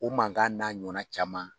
O mankan n'a ɲɔnan caman.